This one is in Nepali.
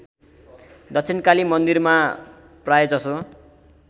दक्षिणकाली मन्दिरमा प्रायजसो